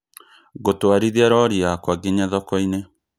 Gũtwarithia rori yakwa ngĩnya thoko-inĩ